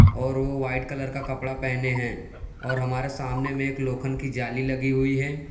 और वो white colour का कपड़ा पहने हैं और हमारे सामने में एक लोखंड की जाली लगी हुई है।